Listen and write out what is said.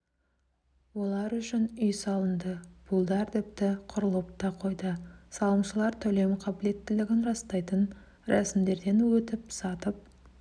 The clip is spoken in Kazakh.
олар үшін үй салынды пулдар тіпті құрылып та қойды салымшылар төлемқабілеттілігін растайтын рәсімдерден өтіп сатып